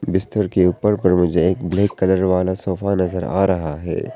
बिस्तर के ऊपर पर मुझे एक ब्लैक कलर वाला सोफा नजर आ रहा है।